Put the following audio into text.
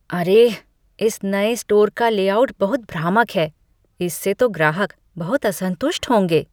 अरे, इस नए स्टोर का लेआउट बहुत भ्रामक है। इससे तो ग्राहक बहुत असंतुष्ट होंगे।